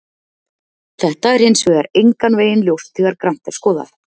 Þetta er hins vegar engan veginn ljóst þegar grannt er skoðað.